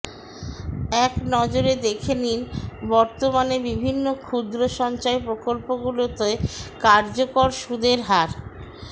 এক নজরে দেখে নিন বর্তমানে বিভিন্ন ক্ষুদ্র সঞ্চয় প্রকল্পগুলিতে কার্যকর সুদের হার